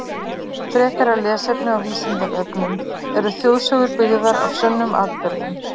Frekara lesefni á Vísindavefnum Eru þjóðsögur byggðar á sönnum atburðum?